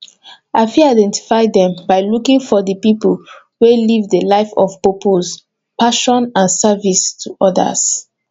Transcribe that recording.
i fit identify dem by looking for di people wey live di life of purpose passion and services to odas